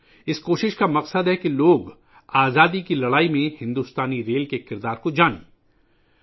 اس کوشش کا مقصد جدوجہد آزادی میں بھارتی ریلوے کے کردار سے لوگوں کو آگاہ کرنا ہے